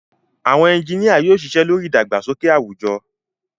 Àwọn ẹ́ńjìnìa yóò ṣiṣẹ́ lórí ìdàgbàsókè àwùjọ